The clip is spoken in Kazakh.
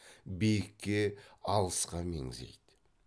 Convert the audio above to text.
биікке алысқа меңзейді